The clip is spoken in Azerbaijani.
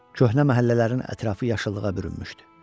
Köhnə məhəllələrin ətrafı yaşıllığa bürünmüşdü.